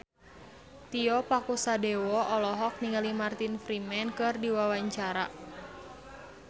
Tio Pakusadewo olohok ningali Martin Freeman keur diwawancara